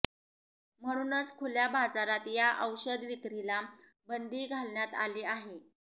म्हणूनच खुल्या बाजारात या औषध विक्रीला बंदी घालण्यात आली आहे